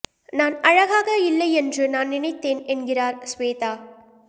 நான் அழகாக இல்லை என்று நான் நினைத்தேன் என்கிறார் ஸ்வேதா